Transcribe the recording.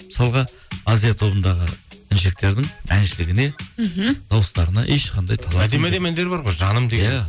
мысалға азия тобындағы іншектердің әншілігіне мхм дауыстарына ешқандай әндері бар ғой жаным